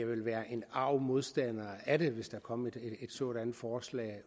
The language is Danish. vil være en arg modstander af det hvis der kom et sådant forslag